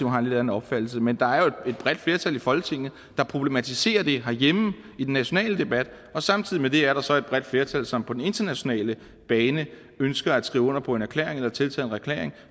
har en lidt anden opfattelse men der er jo et bredt flertal i folketinget der problematiserer det herhjemme i den nationale debat og samtidig med det er der så et bredt flertal som på den internationale bane ønsker at skrive under på en erklæring eller tiltræde en erklæring